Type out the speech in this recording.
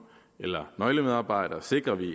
eller nøglemedarbejdere sikrer vi